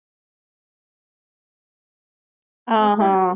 அஹ் ஹம்